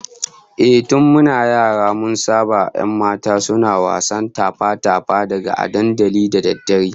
Ehh, tun muna yara mun saba 'yan mata suna wasan tafa-tafa da gada a dandalin da daddare